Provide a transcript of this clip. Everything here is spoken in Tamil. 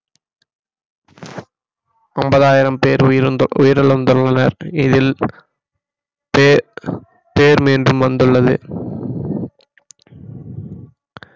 ஒன்பதாயிரம் பேர் உயிர்~ உயிரிழந்துள்ளனர் இதில் பேர் பேர் மீண்டும் வந்துள்ளது